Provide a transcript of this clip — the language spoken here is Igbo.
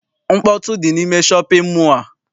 Mkpọtụ dị n'ime shọpịn mọọ a.